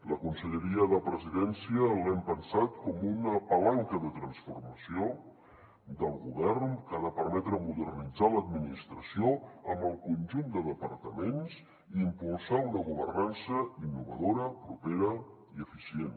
la conselleria de presidència l’hem pensat com una palanca de transformació del govern que ha de permetre modernitzar l’administració amb el conjunt de departaments i impulsar una governança innovadora propera i eficient